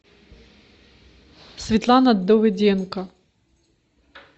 светлана давыденко